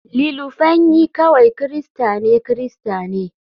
Ililufenyi kawai Kirista ne Kirista ne.